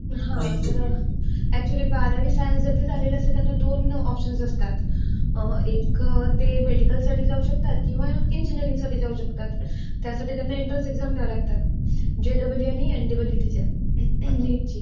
हा, अकच्युअली बारावी सायन्स ज्यांच झालेलं असेल तर त्यांना दोन ऑपशन्स असतात. अं एक ते मेडिकलसाठी जाऊ शकतात किंवा इंजिनियरिंगसाठी जाऊ शकतात. त्यासाठी त्यांना एन्ट्रन्स एक्साम द्यावी लागतात. जेईई आणि एनईईटीच्या. नीटची.